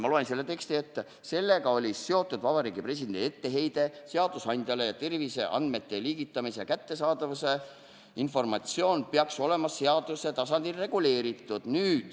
Ma loen selle teksti protokollist ette: "Sellega oli seotud Vabariigi Presidendi etteheide seadusandjale, et terviseandmete liigutamise ja kättesaadavuse informatsioon peaks olema seaduse tasandil reguleeritud.